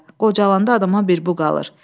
Qocalandan adama bir bu qalır.